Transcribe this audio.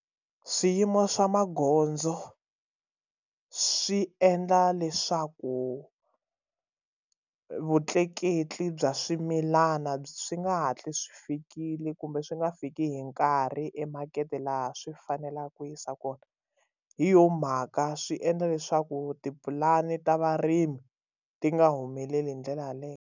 Swiyimo swa magondzo swi endla leswaku vutleketli bya swimilana byi nga hatli swi fikile kumbe swi nga fiki hi nkarhi emakete laha swi faneleke ku yisa kona hi yo mhaka swi endla leswaku tipulani ta varimi ti nga humeleli hi ndlela yaleyo.